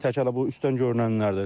Tək həllə bu üstdən görünənlərdir.